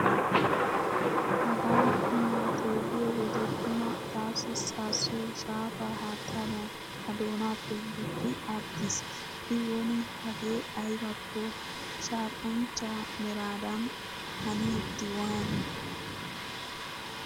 Hagaa qumaa xeelliyo wode tuma taassi saassoy shaafaa haattaadan ta doonaappe gukki aggiis. I woni hagee aybakko shaaqanchchaa meraadan hanidi waani.